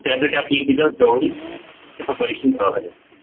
त्यासाठी जवळून त्याच परीक्षण कराव लागेल